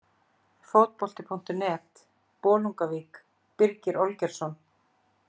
Fótbolti.net, Bolungarvík- Birgir Olgeirsson.